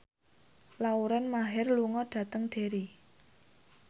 Lauren Maher lunga dhateng Derry